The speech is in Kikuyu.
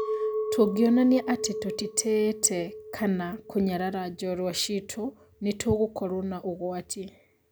Tũngĩonania atĩ tũtiĩtĩĩte kama kunyarara njorua ciitũ nĩtũgũkorwo na ũgwati